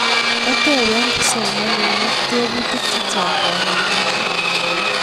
Kotepe kipsomaninik teputik chechang' kanetindet